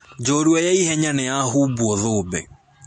Njorua ya ihenya nĩyahumbuo thũmbĩ.